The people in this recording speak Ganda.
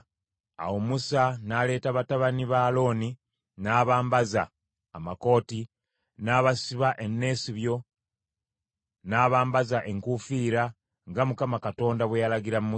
Awo Musa n’aleeta batabani ba Alooni n’abambaza amakooti, n’abasiba eneesibyo, n’abambaza enkuufiira, nga Mukama Katonda bwe yalagira Musa.